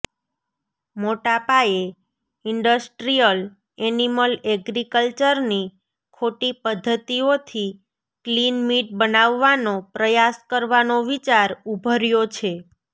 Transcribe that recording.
મોટાપાયે industrial animal એગ્રીકલ્ચરની ખોટી પઘ્ધતિઓથી કલીન મીટ બનાવવાનો પ્રયાસ કરવાનો વિચાર ઉભર્યો છે